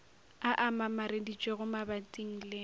a a mamareditšwego mabating le